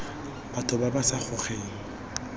batho ba ba sa gogeng